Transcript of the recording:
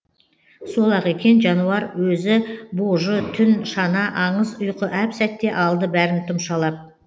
сол ақ екен жануар өзі божы түн шана аңыз ұйқы әп сәтте алды бәрін тұмшалап